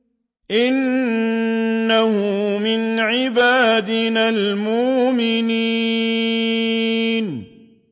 إِنَّهُ مِنْ عِبَادِنَا الْمُؤْمِنِينَ